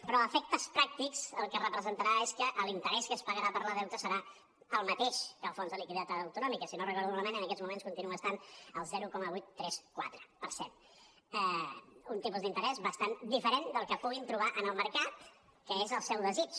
però a efectes pràctics el que representarà és que l’interès que es pagarà pel deute serà el mateix que el fons de liquiditat autonòmic si no ho recordo malament en aquests moments continua estant al zero coma vuit cents i trenta quatre per cent un tipus d’interès bastant diferent del que puguin trobar en el mercat que és el seu desig